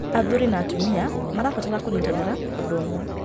Athuri na atumia marabatara kũnyitanĩra ũndũ ũmwe.